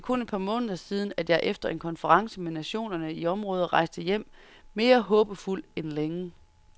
Det er kun et par måneder siden, at jeg efter en konference med nationerne i området rejste hjem mere håbefuld end længe.